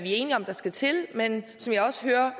enige om skal til men som jeg også hører